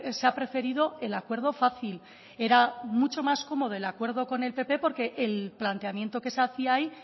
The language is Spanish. se ha preferido el acuerdo fácil era mucho más cómodo el acuerdo con el pp porque el planteamiento que se hacía ahí